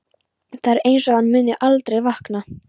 Það er einsog hann muni aldrei vakna.